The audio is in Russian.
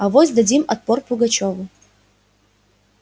авось дадим отпор пугачёву